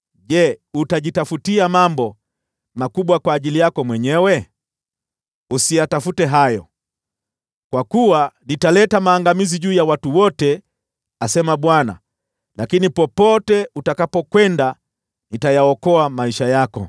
Je, utajitafutia mambo makubwa kwa ajili yako mwenyewe? Usiyatafute hayo. Kwa kuwa nitaleta maangamizi juu ya watu wote, asema Bwana , lakini popote utakapokwenda, nitayaokoa maisha yako.’ ”